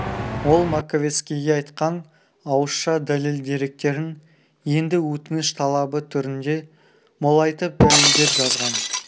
ол маковецкийге айтқан ауызша дәлел-деректерін енді өтініш талабы түрінде молайтып дәлелдеп жазған